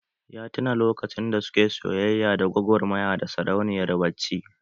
Ya tuna lokacin da suke soyayya da gwagwarmaya da sarauniyar bacci